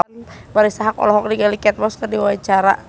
Marisa Haque olohok ningali Kate Moss keur diwawancara